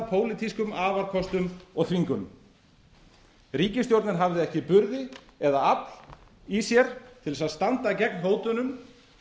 pólitískum afarkostum og þvingunum ríkisstjórnin hafði ekki burði eða afl í sér til þess að standa gegn hótunum